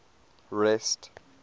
rest